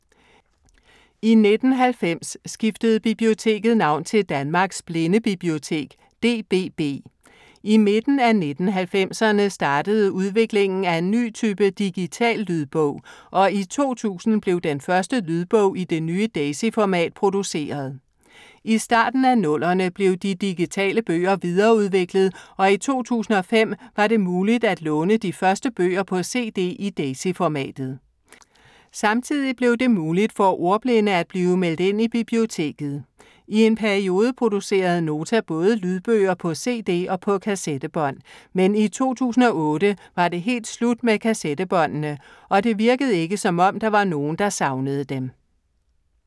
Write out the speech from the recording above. I 1990 skiftede biblioteket navn til Danmarks Blindebibliotek, DBB. I midten af 1990'erne startede udviklingen af en ny type digital lydbog, og i 2000 blev den første lydbog i det nye Daisy-format produceret. I starten af 00'erne blev de digitale bøger videreudviklet og i 2005 var det muligt at låne de første bøger på cd i Daisy-formatet. Samtidig blev det muligt for ordblinde at blive meldt ind i biblioteket. I en periode producerede Nota både lydbøger på cd og på kassettebånd, men i 2008 var det helt slut med kassettebåndene. Og det virkede ikke som om, der var nogen, der savnede dem.